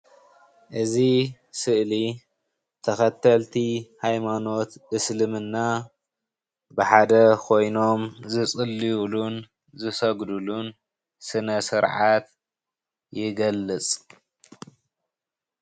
እዚ ስእሊ ተኸተልቲ ሃይማኖት እስልምና ብሓደ ኮይኖም ዝፅልዩሉን ዝሰግድሉን ስነስርዓት ይገልጽ።